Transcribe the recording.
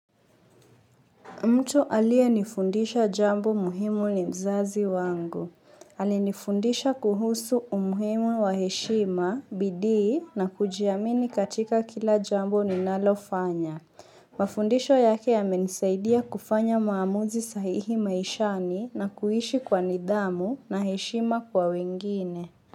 Mtu alie nifundisha jambo muhimu ni mzazi wangu. Alinifundisha kuhusu umhimu wa heshima, bidii, na kujiamini katika kila jambo ninalofanya. Mafundisho yake yamenisaidia kufanya maamuzi sahihi maishani na kuishi kwa nidhamu na heshima kwa wengine.